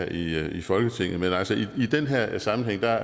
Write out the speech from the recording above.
her i folketinget men altså i den her sammenhæng er